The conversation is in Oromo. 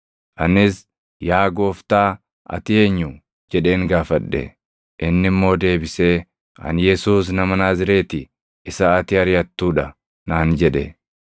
“Anis, ‘Yaa Gooftaa ati eenyu?’ jedheen gaafadhe. “Inni immoo deebisee, ‘Ani Yesuus nama Naazreeti isa ati ariʼattuu dha’ naan jedhe.